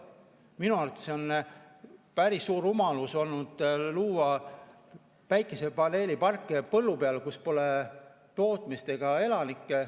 Minu arvates on päris suur rumalus olnud luua päikesepaneeliparke põllu peale, kus pole tootmist ega elanikke.